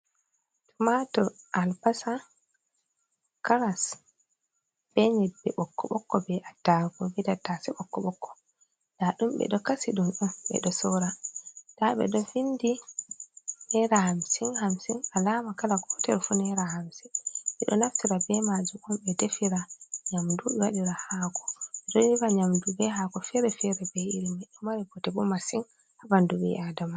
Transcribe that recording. Tomatur, al basa caras, be nyebbe bokko bokko be attarugu be tattase bokko bokko da dum be do kasi dum on be do sora da be do vindi nera hamsin hamsin alama kala gotel fu nera hamsin be do naftira be maju um, be defira nyamdu wadira hako be do defira nyamdu be hako fere fere be irima e mari bote bo masin ha bandu bi adama.